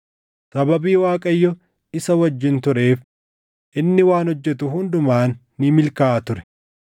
Sababii Waaqayyo isa wajjin tureef inni waan hojjetu hundumaan ni milkaaʼa ture.